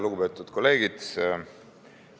Lugupeetud kolleegid!